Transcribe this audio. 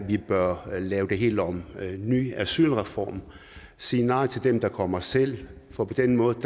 vi bør lave det helt om lave en ny asylreform sige nej til dem der kommer selv for på den måde